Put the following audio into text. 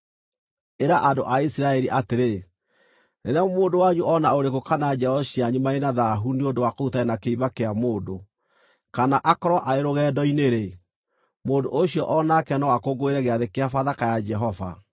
“Ĩra andũ a Isiraeli atĩrĩ: ‘Rĩrĩa mũndũ wanyu o na ũrĩkũ kana njiaro cianyu marĩ na thaahu nĩ ũndũ wa kũhutania na kĩimba kĩa mũndũ, kana akorwo arĩ rũgendo-inĩ-rĩ, mũndũ ũcio o nake no akũngũĩre Gĩathĩ-kĩa-Bathaka ya Jehova.